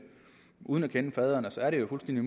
uden at kende faderen og så er det jo fuldstændig